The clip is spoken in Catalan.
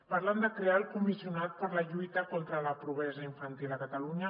parlen de crear el comissionat per a la lluita contra la pobresa infantil a catalu·nya